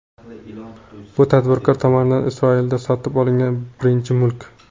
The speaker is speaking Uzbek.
Bu tadbirkor tomonidan Isroilda sotib olingan birinchi mulk.